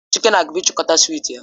Chike na-abia ichikota swiiti ya